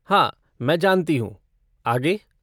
हाँ मैं जानती हूँ, आगे?